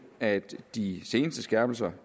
at de seneste skærpelser